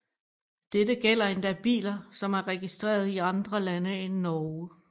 Dette gælder endda biler som er registrerede i andre lande end Norge